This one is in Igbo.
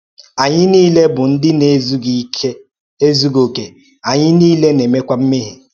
Anyị niile bụ ndị na-ezughị okè, anyị niile na-emekwa mmehie.